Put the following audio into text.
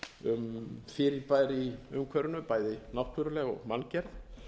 um fyrirbæri í umhverfinu bæði náttúruleg og manngerð